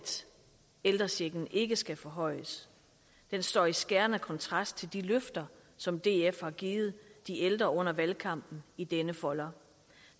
ældrechecken ikke skal forhøjes står i skærende kontrast til de løfter som df har givet de ældre under valgkampen i denne folder